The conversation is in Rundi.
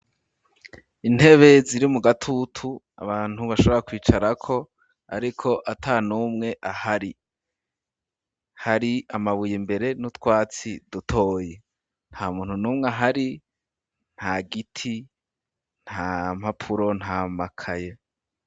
Intebe ziri mu gatutu abantu bashobora kwicarako ariko atanumwe ahari hari amabuye imbere n'utwatsi dutoye nta muntu numwe ahari ntagiti ntampapuro ntamakaye